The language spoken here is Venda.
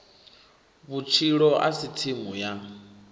vhutshilo a si tsimu ya